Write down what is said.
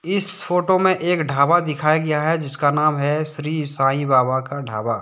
इस फोटो में एक ढाबा दिखाया गया हैजिसका नाम ही श्री साई बाबा का ढाबा।